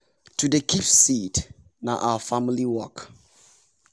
to dey keep seed na our family work